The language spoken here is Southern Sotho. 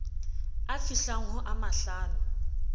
a fihlang ho a mahlano